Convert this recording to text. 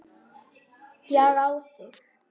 Ég á þig.